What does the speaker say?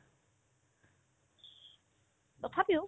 তথাপিও